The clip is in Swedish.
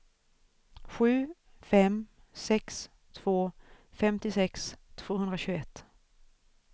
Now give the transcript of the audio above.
sju fem sex två femtiosex tvåhundratjugoett